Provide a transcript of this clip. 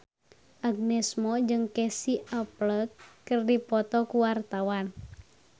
Agnes Mo jeung Casey Affleck keur dipoto ku wartawan